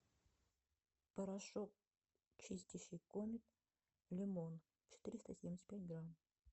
порошок чистящий комет лимон четыреста семьдесят пять грамм